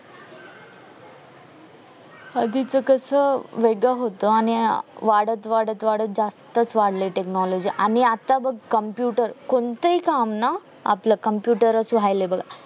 आधीच कस वेगळंच होत आणि वाढत वाढत जास्त जास्तच वाढलेय technology आम्ही आता बघ computer कोणतही काम ना आपलं computer च ऱ्हायलंय बघा